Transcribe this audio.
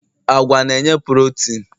agwa na-enye porotin